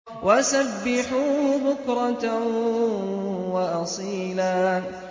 وَسَبِّحُوهُ بُكْرَةً وَأَصِيلًا